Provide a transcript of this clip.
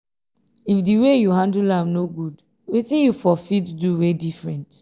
if di way yu handle am no gud wetin yu for fit do wey diffrent